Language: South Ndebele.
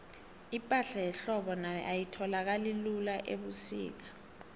ipahla yehlobo nayo ayitholakali lula ubusika